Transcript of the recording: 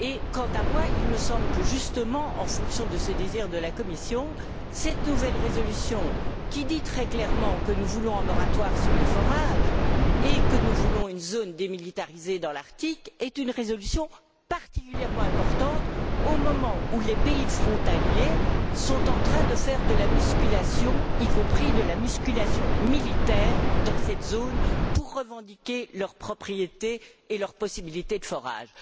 Quant à moi, il me semble que, justement, conformément au souhait exprimé par la Commission, cette nouvelle résolution, qui dit très clairement que nous voulons un moratoire sur les forages et que nous voulons une zone démilitarisée dans l'Arctique, est une résolution particulièrement importante au moment où les pays frontaliers sont en train de faire de la musculation, y compris de la musculation militaire dans cette zone, pour revendiquer leur propriété et leurs possibilités de forages.